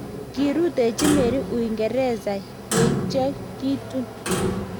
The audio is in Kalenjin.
kiutochi Mary uingereza yeityo kitun